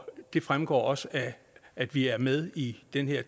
det fremgår også af at vi er med i den her